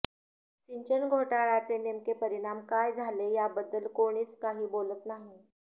सिंचन घोटाळ्याचे नेमके परिणाम काय झाले याबद्दल कोणीच काही बोलत नाही